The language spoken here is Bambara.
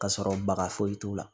Ka sɔrɔ baga foyi t'u la